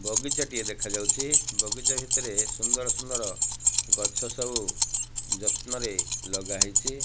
ବଗିଚା ଟିଏ ଦେଖାଯାଉଚି ବଗିଚା ଭିତରେ ସୁନ୍ଦର-ସୁନ୍ଦର ଗଛ ସବୁ ଯତ୍ନ ରେ ଲଗା ହେଇଛି।